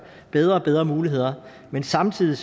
bedre og bedre muligheder men samtidig